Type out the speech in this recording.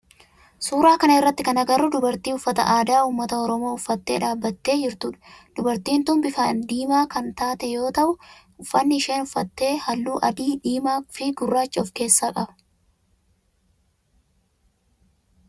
Suuraa kana irratti kan agarru dubartii uffata aadaa ummata oromoo uffattee dhaabbattee jirtudha. Dubartiin tun bifa diimaa kan taate yoo ta'u uffanni isheen uffatte halluu adii, diimaa fi gurraacha of keessaa qaba.